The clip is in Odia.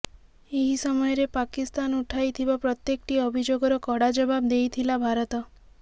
ଏହି ସମୟରେ ପାକିସ୍ତାନ ଉଠାଇଥିବା ପ୍ରତ୍ୟେକଟି ଅଭିଯୋଗର କଡ଼ା ଜବାବ ଦେଇଥିଲା ଭାରତ